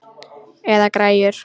Eða græjur.